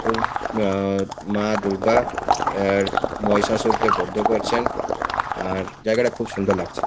খুব আআআ মা দূর্গা আর মহিষাসুরকে বদ্ধ করছেন আর জায়গাটা খুব সুন্দর লাগছে।